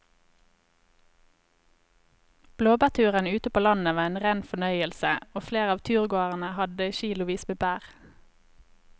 Blåbærturen ute på landet var en rein fornøyelse og flere av turgåerene hadde kilosvis med bær.